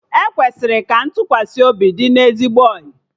E kwesịrị ka ntụkwasị obi dị na ezigbo ọyị